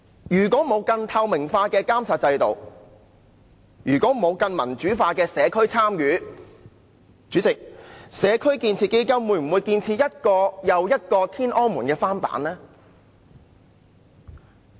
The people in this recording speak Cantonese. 如果沒有更透明的監察制度、更民主化的社區參與，主席，"社區建設基金"會不會建設一個又一個林村"天安門"的翻版呢？